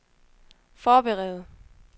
forberede